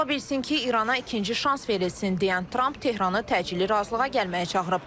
Ola bilsin ki, İrana ikinci şans verilsin deyən Trump Tehranı təcili razılığa gəlməyə çağırıb.